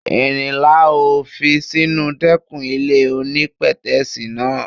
Irin la ó fi sínú dẹ́kìn ilé onípètẹ́sì náà.